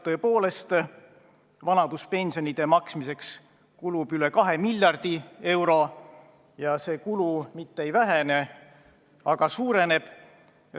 Tõepoolest, vanaduspensionide maksmiseks kulub üle kahe miljardi euro ja see kulu mitte ei vähene, vaid suureneb.